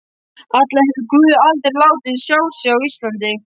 Allavega hefur guð aldrei látið sjá sig á Íslandi.